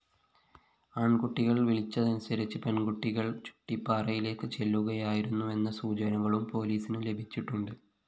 ആണ്‍കുട്ടികള്‍ വിളിച്ചതനുസരിച്ച് പെണ്‍കുട്ടികള്‍ ചുട്ടിപ്പാറയിലേക്ക് ചെല്ലുകയായിരുന്നുവെന്ന സൂചനകളും പോലിസിന് ലഭിച്ചിട്ടുണ്ട്